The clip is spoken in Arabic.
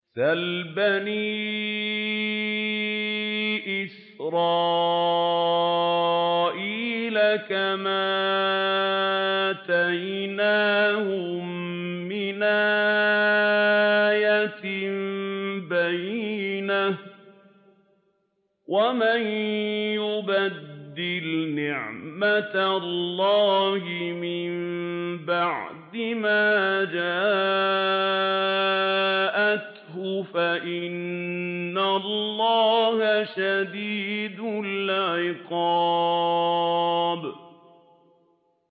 سَلْ بَنِي إِسْرَائِيلَ كَمْ آتَيْنَاهُم مِّنْ آيَةٍ بَيِّنَةٍ ۗ وَمَن يُبَدِّلْ نِعْمَةَ اللَّهِ مِن بَعْدِ مَا جَاءَتْهُ فَإِنَّ اللَّهَ شَدِيدُ الْعِقَابِ